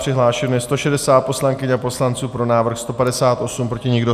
Přihlášeno je 160 poslankyň a poslanců, pro návrh 158, proti nikdo.